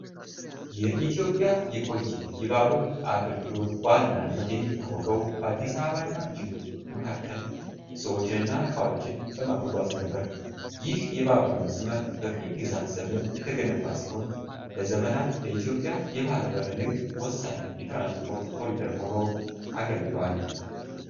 የኢትዮጵያ የቆየ የባቡር አገልግሎት በዋናነት የሚታወቀው በአዲስ አበባ እና ጅቡቲ መካከል ሰዎችንና ዕቃዎችን በማጓጓዝ ነበር። ይህ የባቡር መስመር በቅኝ ግዛት ዘመን የተገነባ ሲሆን፣ ለዘመናት ለኢትዮጵያ የባሕር በር ንግድ ወሳኝ የትራንስፖርት ኮሪደር ሆኖ አገልግሏል።